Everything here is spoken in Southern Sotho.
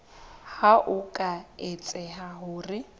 ha ho ka etseha hore